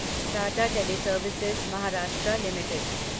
Tata teleservices Maharashtra limited